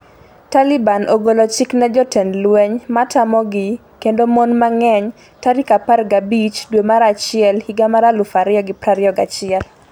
Taliban ogolo chik ne jotend lweny matamogi kendo mon mang'eny tarik 15 dwe mar achiel higa mar 2021